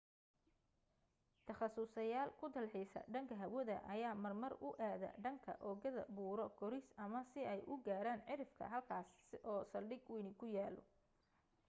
takhasuslyaal ku dalxiisa dhanka hawada ayaa marmar u aada dhanka oogada buuro koris ama si ay u gaaran cirifka halkaas oo saldhig wayni ku yaallo